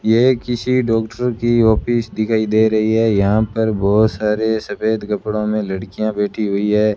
ये किसी डॉक्टर की ऑफिस दिखाई दे रही है यहां पर बहोत सारे सफेद कपड़ों में लड़कियां बैठी हुई है।